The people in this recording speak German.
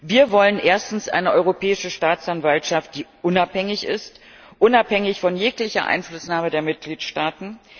Wir wollen erstens eine Europäische Staatsanwaltschaft, die unabhängig ist unabhängig von jeglicher Einflussnahme der Mitgliedstaaten.